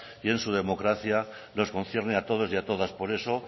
y en su democracia nos concierne a todos y a todas por eso